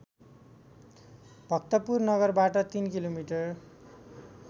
भक्तपुर नगरबाट ३ किलोमिटर